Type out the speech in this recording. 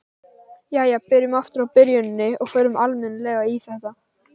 Jæja, byrjum aftur á byrjuninni og förum almennilega í þetta.